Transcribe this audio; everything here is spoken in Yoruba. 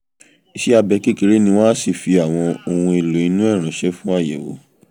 iṣẹ́ abẹ kékeré ni wọ́n á sì fi àwọn ohun èlò inú ẹ̀ ránṣẹ́ fún àyẹ̀wò